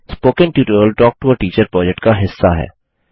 spoken tutorial talk to a teacher project का हिस्सा है